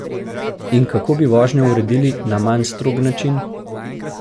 In kako bi vožnjo uredili na manj strog način?